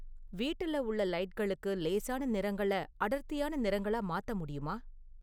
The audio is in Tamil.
வீட்டில உள்ள லைட்களுக்கு லேசான நிறங்களை அடர்த்தியான நிறங்களா மாத்த முடியுமா?